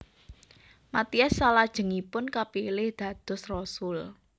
Matias salajengipun kapilih dados rasul